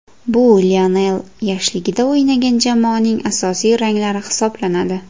Bu Lionel yoshligida o‘ynagan jamoaning asosiy ranglari hisoblanadi.